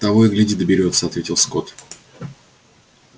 того и гляди доберётся ответил скотт